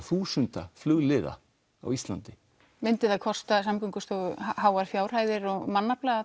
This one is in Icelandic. þúsunda flugliða á Íslandi myndi það kosta Samgöngustofu háar fjárhæðir og mannafla